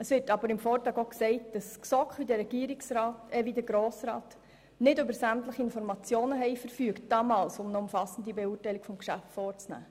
Es wird im Vortrag auch gesagt, dass damals die GSoK, ebenso wie der Grosse Rat, nicht über sämtliche Informationen verfügt hätten, um eine umfassende Beurteilung des Geschäfts vornehmen zu können.